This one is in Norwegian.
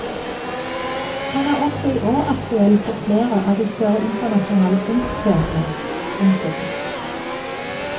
Han er også i år aktuell på flere av de større internasjonale kunstscenene. punktum